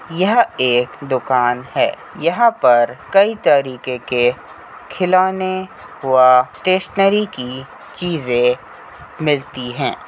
यह एक दुकान है। यहां पर कई तरीके के खिलौने व स्टेशनरी की चीज़ें मिलती हैं।